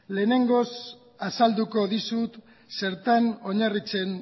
lehenengoz azalduko dizut zertan oinarritzen